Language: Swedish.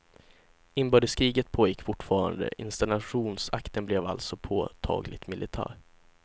Inbördeskriget pågick fortfarande, installationsakten blev alltså påtagligt militär.